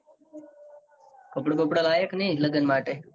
કપડાં બાપડા લાયા કે નાઈ લગન માટે.